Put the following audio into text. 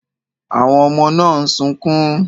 Àwọn ọmọ náà ń sunkún.